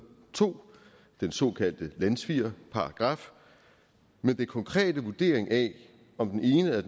to den såkaldte landssvigerparagraf men den konkrete vurdering af om den ene eller